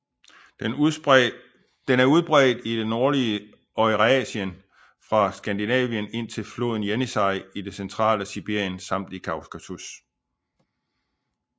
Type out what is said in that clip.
Den er udbredt i det nordlige Eurasien fra Skandinavien indtil floden Jenisej i det centrale Sibirien samt i Kaukasus